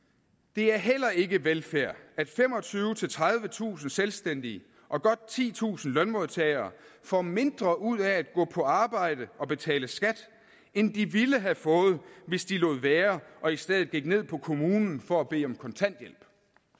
det er heller ikke velfærd at femogtyvetusind tredivetusind selvstændige og godt titusind lønmodtagere får mindre ud af at gå på arbejde og betale skat end de ville få hvis de lod være og i stedet gik ned på kommunen for at bede om kontanthjælp